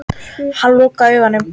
Hann lokaði augunum.